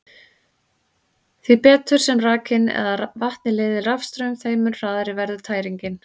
Því betur sem rakinn eða vatnið leiðir rafstraum, þeim mun hraðari verður tæringin.